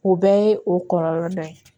O bɛɛ ye o kɔlɔlɔ dɔ ye